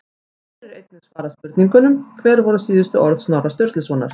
Hér er einnig svarað spurningunum: Hver voru síðustu orð Snorra Sturlusonar?